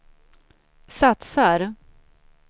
satsar